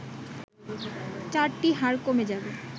চারটি হাড় কমে যাবে